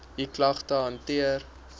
u klagte hanteer